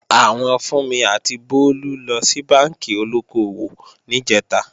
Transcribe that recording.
Àwọn Fúnmi àti Bólú lọ sí bánkì olóko-òwò níjẹ̀ta